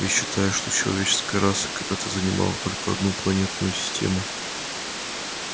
ведь считают что человеческая раса когда-то занимала только одну планетную систему